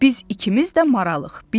Biz ikimiz də maralıq.